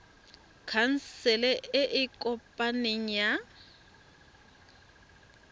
khansele e e kopaneng ya